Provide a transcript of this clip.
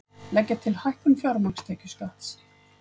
Leggja til hækkun fjármagnstekjuskatts